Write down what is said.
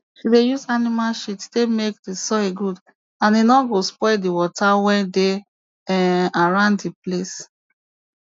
she dey use animal shit take make di soil good and e no go spoil di water wey dey um around di place